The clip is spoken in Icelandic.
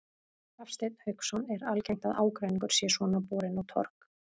Hafsteinn Hauksson: Er algengt að ágreiningur sé svona borinn á torg?